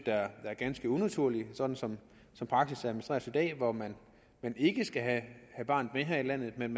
er ganske unaturligt sådan som praksis administreres i dag hvor man ikke skal have barnet her i landet men